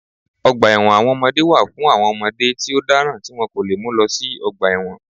Ọgbà ẹ̀wọ̀n àwọn ọmọdé wà fún àwọn ọmọdé tí ó dáràn tí wọ́n kò lè mú lọ sí ọgbà ẹ̀wọ̀n